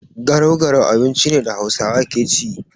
Garau-garau abinci ne da Hausawa ke ci.